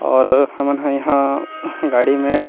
और हमन ह इहा गाड़ी में--